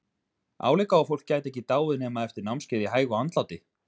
Álíka og fólk gæti ekki dáið nema eftir námskeið í hægu andláti!